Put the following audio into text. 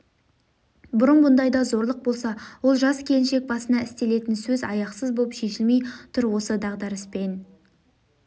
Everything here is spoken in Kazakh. бұрын бұндайда зорлық болса ол жас келіншек басына істелетін сөз аяқсыз боп шешілмей тұр осы дағдарыспен